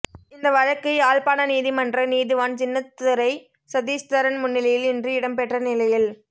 இந்த வழக்கு யாழ்ப்பாண நீதிமன்ற நீதிவான் சின்னத்துரை சதீஸ்தரன் முன்னிலையில் இன்று இடம்பெற்ற நிலையில்